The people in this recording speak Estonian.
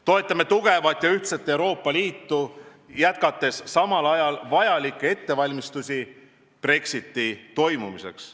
Toetame tugevat ja ühtset Euroopa Liitu, jätkates samal ajal vajalikke ettevalmistusi Brexiti toimumiseks.